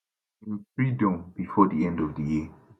im freedom bifor di end of di year